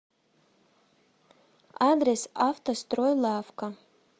адрес автостройлавка